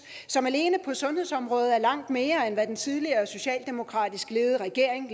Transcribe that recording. som alene på sundhedsområdet er langt mere end hvad den tidligere socialdemokratisk ledede regering